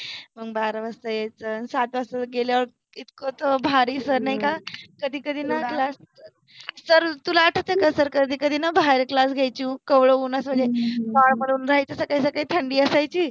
मंग बारा वाजता यायच, सात वाजता गेल्यावर इतक त भारि सर नाइ का कधि कधि न क्लास, सर तुला आठवते का सर कधि कधि न बाहेर क्लास घ्यायचे कोवळ्या उन्हामधे, मनुन राहायचि सकाळि सकाळी थंडि असायचि